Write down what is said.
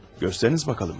Göstəriniz bakalım.